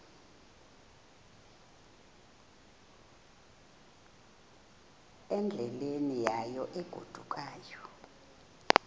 endleleni yayo egodukayo